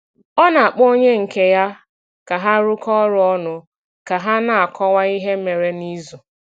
Ọ na-akpọ onye nke ya ka ha rụkọ ọrụ ọnụ ka ha na-akọwa ihe mere n’izu.